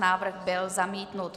Návrh byl zamítnut.